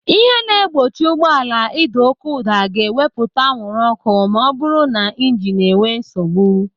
Ihe na-egbochi ụgbọala ịda oké ụda ga-ewepụta anwụrụ ọ́kụ́ ma ọbụrụ na ịjinu enwe nsogbu.